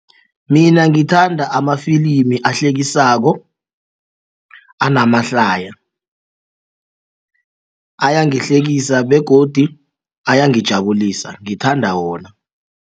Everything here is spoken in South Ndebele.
Mina ngithanda amafilimi ahlekisako anamahlaya ayangihlekisa begodi ayangijabulisa ngithanda wona.